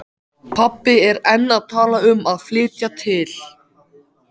Pabbi er enn að tala um að flytja til